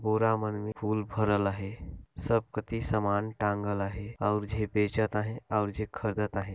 पूरा मन में फूल भरल है सब कति समान टांगल है और जे भेचात है और जो खरीदत है।